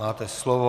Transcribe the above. Máte slovo.